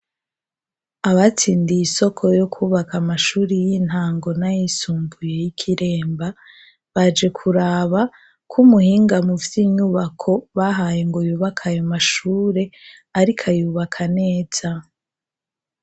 Abatsindiye isoko yo kubaka amashuri y'intango n' ayisumbuye y' i Kiremba, baje kuraba ko umuhinga muvy' inyubako bahaye ngo yubaka ayo mashure ariko ayubaka neza.